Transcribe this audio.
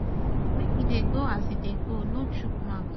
make e dey go as e dey go no chook mouth